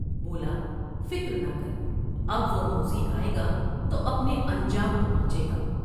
بولا '' فکر نہ کراب وہ موذی آۓ گا تو اپنے انجام کو پہنچے گا ۔